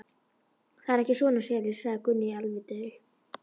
Það eru ekki svona selir, sagði Gunni alvitri.